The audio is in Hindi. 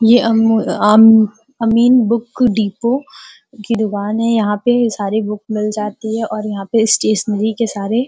ये अम आम अमीन बुक डिपो की दूकान है। यहाँ पे सारी बुक मिल जाती है और यहाँ पे स्टेशनरी के सारे --